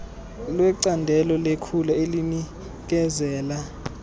lwecandelo lekhula elinikezela